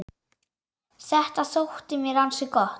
Þetta þótti mér ansi gott.